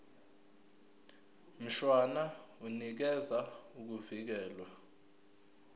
mshwana unikeza ukuvikelwa